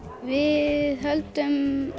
við höldum